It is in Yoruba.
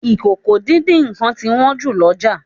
Ìkòkò-díndín-nǹkan ti wón jù l'oja.